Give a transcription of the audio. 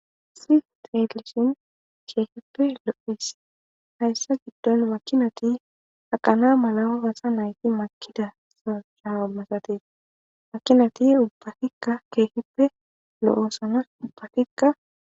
Si teelishin keehippe lo7is hayssa giddon makinati aqana mala basa nayti makida sashaamasate makinati ubbafikka keehippe lo7osana ubbafikka